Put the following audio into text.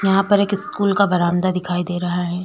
यहाँ पर एक स्कूल का बरामदा दिखाई दे रहा है।